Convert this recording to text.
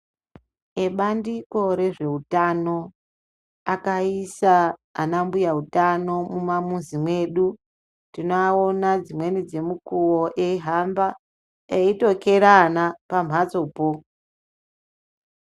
Ebandiko rezveutano akaisa ana mbuya utano mumamuzi mwedu tinoanona dzimweni dzemukuwo eihamba eitokera ana pambatsopo.